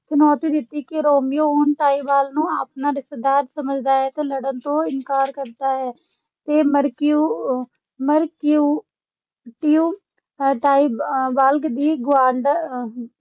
ਚੁਣੌਤੀ ਦਿੱਤੀ ਕੀ ਰੋਮੀਓ, ਹੁਣ ਟਾਈਬਾਲਟ ਨੂੰ ਆਪਣਾ ਰਿਸ਼ਤੇਦਾਰ ਸਮਝਦਾ ਹੈ ਤੇ ਲੜਨ ਤੋਂ ਇਨਕਾਰ ਕਰਦਾ ਹੈ ਤੇ ਮਰਕਿਉ ਮਰਕਿਊਟਿਓ ਟਾਈਬਾਲਟ ਦੀ ਗੁਆਂਢ ਅਹ